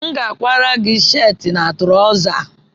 M ga-akwara ya sheetị na traụza